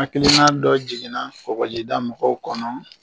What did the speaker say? Hakilina dɔ jiginna ɔkɔlida mɔgɔw kɔnɔ